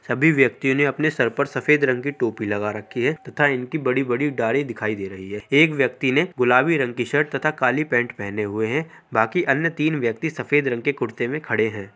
सभी व्यक्ति ने अपने सर पर सफेद रंग की टोपी लगा रखी है तथा इनकी बड़ी बड़ी दाढ़ी दिखाई दे रही है एक व्यक्ति ने गुलाबी रंग की शर्ट तथा काली पेंट पेहने हुए है बाकी अन्य तीन व्यक्ति सफेद रंग के कुर्ते मैं खड़े है।